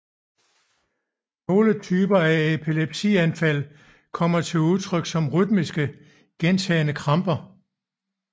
Nogle typer af epilepsianfald kommer til udtrykt som rytmiske gentagne kramper